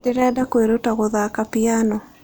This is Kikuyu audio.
Ndĩrenda kwĩruta gũthaka piano.